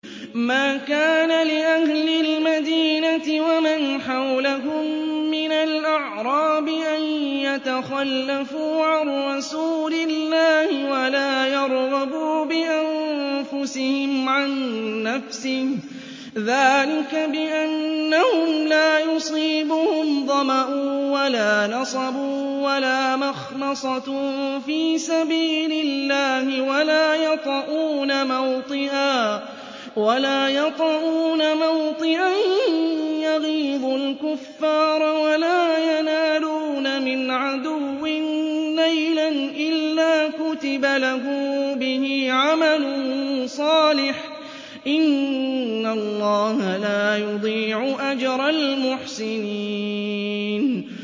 مَا كَانَ لِأَهْلِ الْمَدِينَةِ وَمَنْ حَوْلَهُم مِّنَ الْأَعْرَابِ أَن يَتَخَلَّفُوا عَن رَّسُولِ اللَّهِ وَلَا يَرْغَبُوا بِأَنفُسِهِمْ عَن نَّفْسِهِ ۚ ذَٰلِكَ بِأَنَّهُمْ لَا يُصِيبُهُمْ ظَمَأٌ وَلَا نَصَبٌ وَلَا مَخْمَصَةٌ فِي سَبِيلِ اللَّهِ وَلَا يَطَئُونَ مَوْطِئًا يَغِيظُ الْكُفَّارَ وَلَا يَنَالُونَ مِنْ عَدُوٍّ نَّيْلًا إِلَّا كُتِبَ لَهُم بِهِ عَمَلٌ صَالِحٌ ۚ إِنَّ اللَّهَ لَا يُضِيعُ أَجْرَ الْمُحْسِنِينَ